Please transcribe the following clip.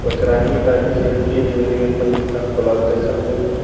वक्रांगी का ये कोलाब्रेसेशन में है।